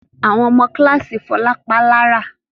Àwọn ọmọ kíláàsì Fọlá pa á lára.